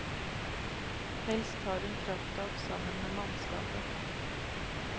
Helst tar hun kraftak sammen med mannskapet.